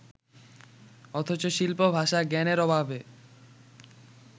অথচ শিল্প-ভাষা-জ্ঞানের অভাবে